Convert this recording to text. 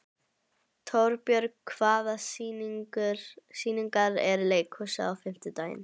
Torbjörg, hvaða sýningar eru í leikhúsinu á fimmtudaginn?